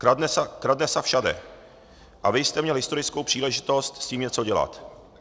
Kradne sa všade - a vy jste měl historickou příležitost s tím něco dělat.